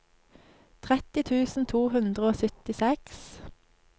tretti tusen to hundre og syttiseks